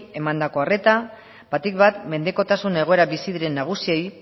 emandako arreta batik bat mendekotasun egoeran bizi diren nagusiei